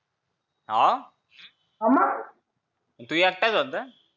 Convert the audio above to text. हाव हाव मंग तू एकटाच होता